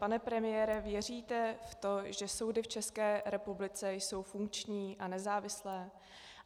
Pane premiére, věříte v to, že soudy v České republice jsou funkční a nezávislé?